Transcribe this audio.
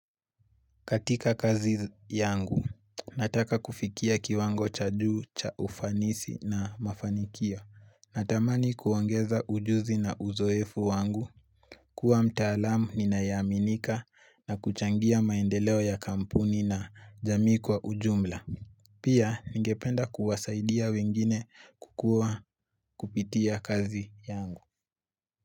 Katika kazi yangu, nataka kufikia kiwango cha juu, cha ufanisi na mafanikio Natamani kuongeza ujuzi na uzoefu wangu, kuwa mtaalamu ninayeaminika na kuchangia maendeleo ya kampuni na jamii kwa ujumla. Pia, ningependa kuwasaidia wengine kukuwa kupitia kazi yangu.